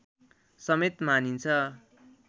समेत मानिन्छ